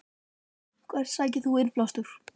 Hvert sækir þú innblástur?